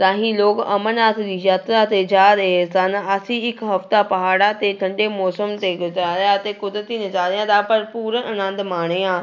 ਰਾਹੀਂ ਲੋਕ ਅਮਰਨਾਥ ਦੀ ਯਾਤਰਾ ਤੇ ਜਾ ਰਹੇ ਸਨ, ਅਸੀਂ ਇੱਕ ਹਫ਼ਤਾ ਪਹਾੜਾਂ ਤੇ ਠੰਢੇ ਮੌਸਮ ਤੇ ਗੁਜਾਰਿਆ ਅਤੇ ਕੁਦਰਤੀ ਨਜ਼ਾਰਿਆਂ ਦਾ ਭਰਪੂਰ ਆਨੰਦ ਮਾਣਿਆ